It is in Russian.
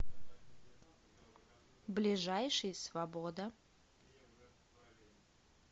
ближайший свобода